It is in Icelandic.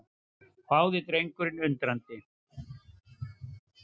hváði drengurinn undrandi.